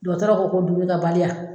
Dɔtɔrɔ ko d duminikɛbaliya.